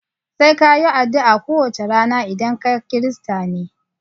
Sai ka yi adu'a ko wace rana idan kaKirista ne